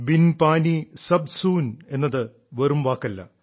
bin പാനി സബ് സൂൻ എന്നത് വെറും വാക്കല്ല